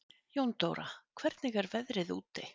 Jóndóra, hvernig er veðrið úti?